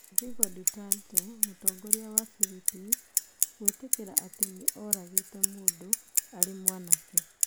Rodrigo Duterte: Mũtongoria wa Philippines gwĩtĩkĩra atĩ nĩ oragĩte mũndũ arĩ mwanake.